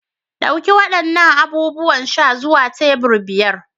Ɗauki waɗannan abubuwan sha zuwa tebur biyar.